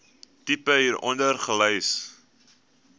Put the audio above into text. tipe hieronder gelys